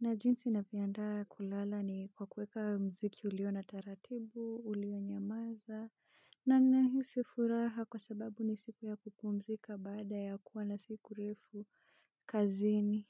na jinsi navyoandaa kulala ni kwa kuweka muziki uliona taratibu, ulionyamaza, na ninahisi furaha kwa sababu ni siku ya kupumzika baada ya kuwa na siku refu kazini.